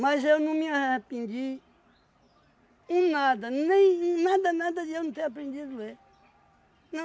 eu não me arrependi um nada, nem nada, nada de eu não ter aprendido ler.